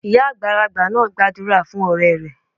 Ìyá àgbàlagbà náà gbàdúrà fún òré rẹ̀